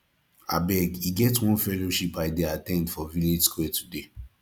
abeg e get one fellowship i dey at ten d for our village square today